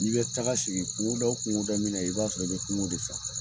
N'i bɛ taga sigi kungoda o kungoda min na i b'a sɔrɔ i bɛ kungo de fɛ fɔlɔ.